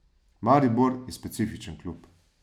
Maribor je specifičen klub.